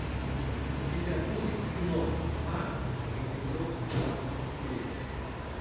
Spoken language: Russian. у тебя будет кино тьма эпизод двадцать девять